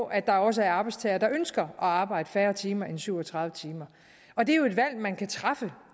at der også er arbejdstagere der ønsker at arbejde færre timer end syv og tredive timer og det er jo et valg man kan træffe